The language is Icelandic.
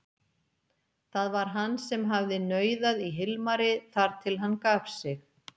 Það var hann sem hafði nauðað í Hilmari þar til hann gaf sig.